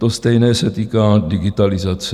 To stejné se týká digitalizace.